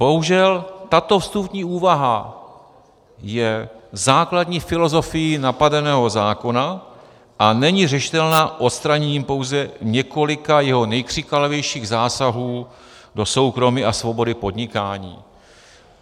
Bohužel, tato vstupní úvaha je základní filozofií napadeného zákona a není řešitelná odstraněním pouze několika jeho nejkřiklavějších zásahů do soukromí a svobody podnikání."